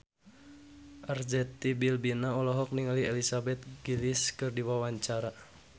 Arzetti Bilbina olohok ningali Elizabeth Gillies keur diwawancara